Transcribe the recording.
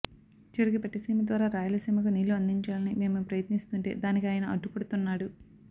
చివరికి పట్టిసీమ ద్వారా రాయలసీమకి నీళ్ళు అందించాలని మేము ప్రయత్నిస్తుంటే దానికి ఆయన అడ్డుపడుతున్నాడు